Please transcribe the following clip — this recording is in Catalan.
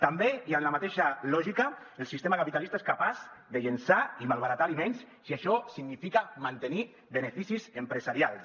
també i en la mateixa lògica el sistema capitalista és capaç de llençar i malbaratar aliments si això significa mantenir beneficis empresarials